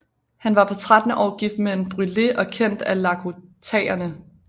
Han var på trettende år gift med en brulé og kendt af lakotaerne